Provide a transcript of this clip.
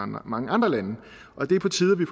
mange andre lande og det er på tide at vi